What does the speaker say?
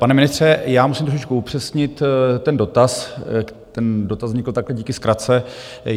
Pane ministře, má musím trošičku upřesnit ten dotaz - ten dotaz vznikl takhle díky zkratce.